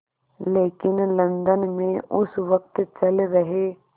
लेकिन लंदन में उस वक़्त चल रहे